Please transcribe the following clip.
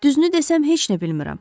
Düzünü desəm heç nə bilmirəm.